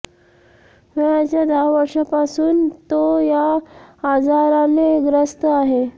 वयाच्या दहा वर्षांपासून तो या आजाराने ग्रस्त आहे